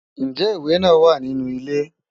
Ǹjẹ́ ìwé náà wà ní inú ilé?